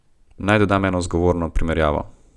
Naj dodam eno zgovorno primerjavo.